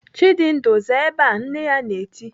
"Chidindu, zaa ebe a!" Nne ya na-eti.